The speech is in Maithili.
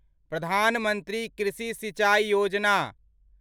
प्रधान मंत्री कृषि सिंचाई योजना